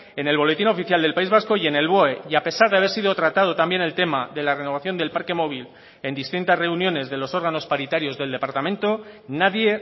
en el boletín oficial del país vasco y en el boe y a pesar de haber sido tratado también el tema de la renovación del parque móvil en distintas reuniones de los órganos paritarios del departamento nadie